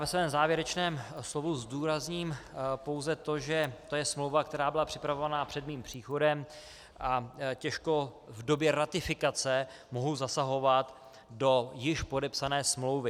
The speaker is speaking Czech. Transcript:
Ve svém závěrečném slovu zdůrazním pouze to, že je to smlouva, která byla připravovaná před mým příchodem, a těžko v době ratifikace mohu zasahovat do již podepsané smlouvy.